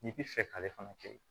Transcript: N'i bi fɛ k'ale fana kɛ